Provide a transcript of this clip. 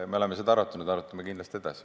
Me oleme seda arutanud ja arutame kindlasti edasi.